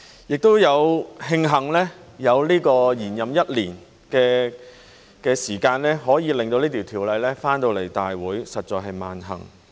亦慶幸有延任一年的時間，可以令到這法案回來大會，實在是萬幸。